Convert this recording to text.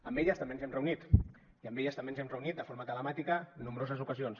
amb elles també ens hem reunit i amb elles també ens hem reunit de forma telemàtica nombroses ocasions